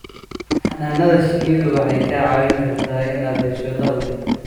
Xannaanada shinnidu waxay kaa caawin kartaa inaad hesho dakhli.